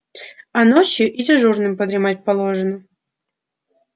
а ночью и дежурным подремать положено